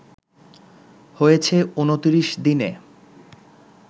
হয়েছে ২৯ দিনে